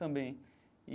Também.